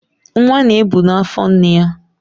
Nwa na-ebu na afọ nne ya.